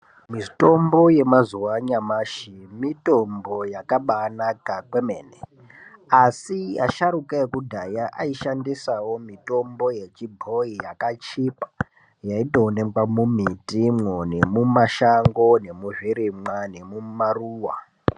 Mitombo yemazuwa anyamashi mitombo yakabaanaka kwemene asi asharuka ekudhaya aishandisawo mitombo yechibhoyi yakachipa yaindoonekwa mumitimwo nemimashango nemuzvirimwa nemumaruwa.